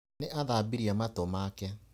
Nĩ athambirie matũ make.